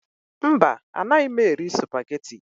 Mba, anaghị m eri Supagetii